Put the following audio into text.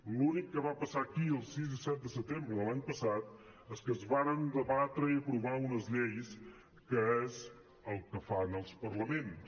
l’únic que va passar aquí el sis i set de setembre de l’any passat és que es varen debatre i aprovar unes lleis que és el que fan els parlaments